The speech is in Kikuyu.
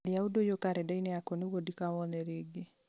tharia ũndũ ũyũ karenda-inĩ yakwa nĩguo ndikawone rĩngĩ